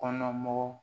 Kɔnɔna mɔgɔw